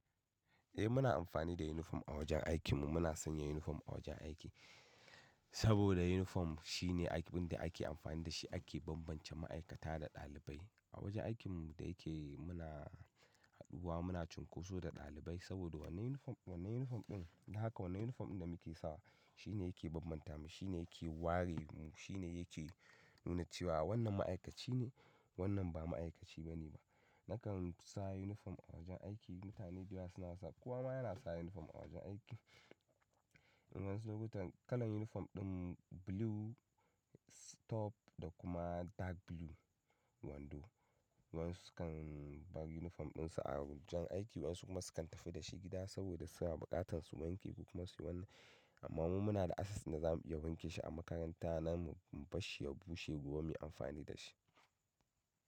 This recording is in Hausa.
Eh muna amfani da unifom a wajen aikin mu. Muna sanya unifom a wajen aiki saboda unifom shine abin da ake amfani da shi ake bambance ma'aikata da ɗalibai. A wajen aikin mu da yake muna haɗuwa muna cunkoso da ɗalibai saboda wannan unifom, wannan unifom ɗin, da haka wannan unifom ɗin da muke sawa shine yake bambanta mu, shine yake ware mu, shine yake nuna cewa wannan ma'aikaci ne, wannan ba ma'aikaci bane ba. Nakan sa unifom a wajen aiki, mutane da yawa suna sawa. Kowa ma yana sa unifom a wajen aiki. Wayansu lokutan kalan unifom ɗin blue, stop da kuma dark blue wando. Wan su sukan bar unifom ɗin su a wajen aiki, wayansu kuma sukan tafi da shi gida saboda suna buƙatan su wanke ko kuma suyi wani, amma mu muna da access na zamu iya wanke shi a makaranta nan mu barshi ya bushe gobe mu yi amfani da shi.